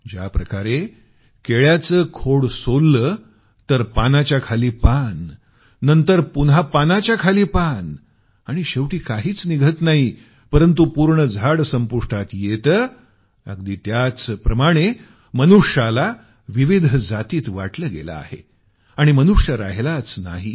ज्याप्रकारे केळ्याचं खोड सोललं तर पानाच्या खाली पान नंतर पुन्हा पानाच्या खाली पान आणि शेवटी काहीच निघत नाही परंतु पूर्ण झाड संपुष्टात येतं अगदी त्याचप्रमाणे मनुष्याला विविध जातींत वाटलं गेलं आहे आणि मनुष्य राहिलाच नाही